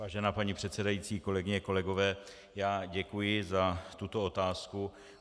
Vážená paní předsedající, kolegyně, kolegové, já děkuji za tuto otázku.